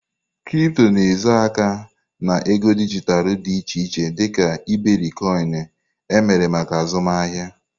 Kripto na-ezo aka na ego dijitalụ dị iche iche dị ka iberikoinu, emere maka azụmahịa.